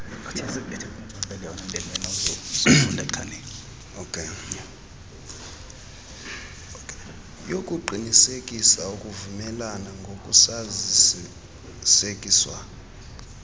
yokuqinisekisa ukuvumelana ngokuzalisekiswa